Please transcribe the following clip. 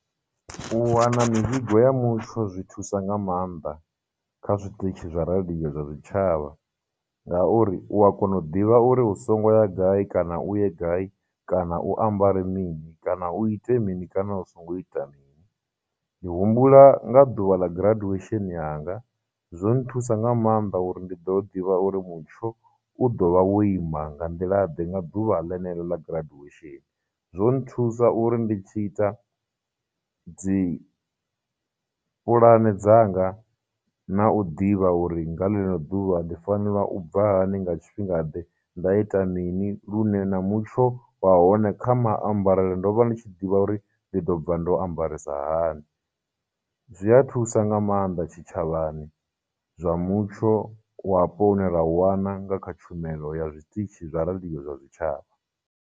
U wana mivhigo ya mutsho zwi thusa nga maanḓa kha zwiṱitshi zwa radio zwa zwitshavha, ngauri u a kona u ḓivha uri u songo ya gai kana u ye gai, kana u ambare mini, kana u ite mini, kana u songo ita mini. Ndi humbula nga ḓuvha ḽa graduation yanga, zwo nthusa nga maanḓa uri ndi ḓo ḓivha uri mutsho u ḓo vha wo ima nga nḓilaḓe nga ḓuvha lenelo ḽa graduation, zwonthusa uri ndi tshi ita dzi pulane dzanga, na u ḓivha uri nga ḽeḽo ḓuvha ndi fanela u bva hani, nga tshifhinga ḓe, nda ita mini, lune na mutsho wa hone, kha maambarele ndo vha ndi tshi ḓivha uri ndi ḓo bva ndo ambarisa hani. Zwi a thusa nga maanḓa tshitshavhani zwa mutsho wapo une ra u wana nga kha tshumelo ya zwiṱitshi zwa radio zwa zwitshavha.